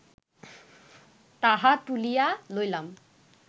তাহা তুলিয়া লইলাম